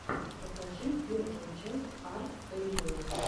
покажи первую часть арт рио